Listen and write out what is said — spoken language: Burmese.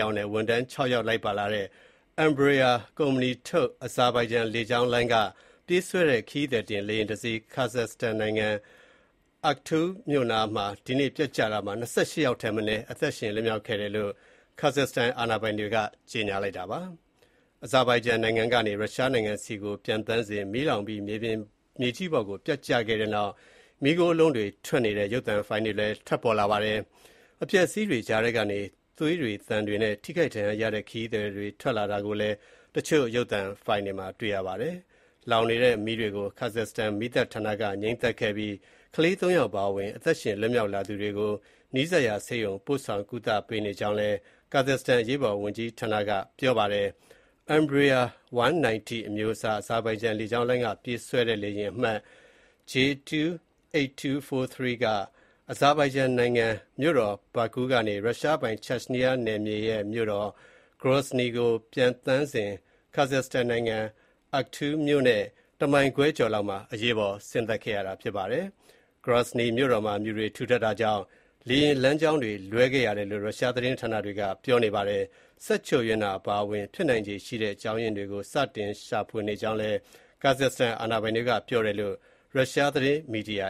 ယောက်နဲ့ ဝန်ထမ်း ၆ ယောက် လိုက်ပါလာတဲ့ Embraer ကုမ္ပဏီထုတ် အဇာဘိုင်ဂျန် လေကြောင်းလိုင်းက ပြေးဆွဲတဲ့ ခရီးသည်တင်လေယာဉ်တစီး ခါဇတ်စတန်နိုင်ငံ Aktau မြို့နားမှာ ဒီနေ့ ပျက်ကျခဲ့ရာမှာ ၂၈ ယောက်ထက်မနည်း အသက်ရှင်လွတ်မြောက်လာတယ်လို့ ခါဇတ်စတန် အာဏာပိုင်တွေက ကြေညာထားပါတယ်။ အဇာဘိုင်ဂျန်နိုင်ငံကနေ ရုရှားနိုင်ငံဆီပျံသန်းစဉ် မီးလောင်ပြီး မြေကြီးပေါ်ကို ပျက်ကျတဲ့နောက် မီးခိုးလုံးကြီးတွေထွက်နေတဲ့ ရုပ်သံဖိုင်လည်း ထွက်ပေါ်လာပါတယ်။ အပျက်အစီးတွေကြားထဲကနေ သွေးသံတွေနဲ့ ထိခိုက်ဒဏ်ရာရတဲ့ ခရီးသည်တွေ ထွက်လာတာ ကိုလည်း တချို့ ရုပ်သံဖိုင်တွေမှာ တွေ့ရပါတယ်။ လောင်နေတဲ့မီးတွေကို ခါဇတ်စတန်မီးသတ်ဌာနက ငြှိမ်းသတ်ခဲ့ပြီး ကလေး ၃ ယောက်အပါအဝင် အသက်ရှင်လွတ်မြောက်လာသူတွေကို နီးစပ်ရာဆေးရုံ ဆီ ပို့ဆောင်ကုသပေးနေကြောင်း ခါဇတ်စတန်အရေးပေါ်ဝန်ကြီးဌာနက ပြောပါတယ်။ Embraer 190 အမျိုးအစား၊ အဇာဘိုင်ဂျန်လေကြောင်းလိုင်းက ပြေးဆွဲတဲ့ လေယာဉ်အမှတ် J2-8243 က အဇာဘိုင်ဂျန်နိုင်ငံ မြို့တော် Baku ကနေ ရုရှားပိုင် Chechnya နယ်မြေရဲ့မြို့တော် Grozny ဆီကို ပျံသန်းစဉ် ခါဇတ်စတန်နိုင်ငံ Aktau မြို့နဲ့ တမိုင်ခွဲကျော်လောက်မှာ အရေးပေါ် ဆင်းသက်ခဲ့ရတာပါ။ Grozny မြို့တော်မှာ မြူတွေ ထူထပ်တာကြောင့် လေယာဉ်လမ်းကြောင်းလွှဲခဲ့ရတယ်လို့ ရုရှားသတင်း ဌာနတွေက ပြောနေပါတယ်။ စက်ချို့ယွင်းတာအပါအဝင် ဖြစ်နိုင်ခြေရှိတဲ့အကြောင်အရင်းတွေကို စတင်ရှာဖွေနေကြောင်း ခါဇတ်စတန်အာဏာပိုင်တွေက ပြောတယ်လို့ ရုရှားသတင်းမီဒီယာ